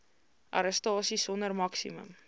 arrestasie sonder maksimum